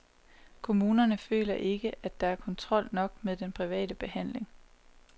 Kommunerne føler ikke, der er kontrol nok med den private behandling.